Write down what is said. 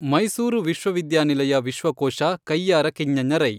ಮೈಸೂರು ವಿಶ್ವವಿದ್ಯಾನಿಲಯ ವಿಶ್ವಕೋಶ ಕಯ್ಯಾರ ಕಿಞ್ಞಣ್ಣರೈ